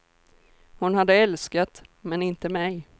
Hon hade älskat, men inte mig.